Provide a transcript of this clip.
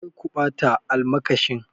Kar ku bata almakashin!